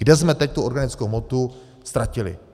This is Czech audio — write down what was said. Kde jsme teď tu organickou hmotu ztratili?